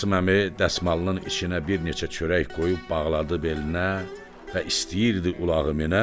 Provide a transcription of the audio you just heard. Qasım əmi dəsmalının içinə bir neçə çörək qoyub bağladı belinə və istəyirdi ulağı minə.